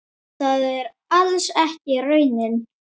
Það er alls ekki raunin.